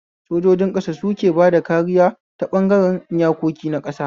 Sojojin ƙasa suke bada kariya ta ɓangaren iyakoki na ƙasa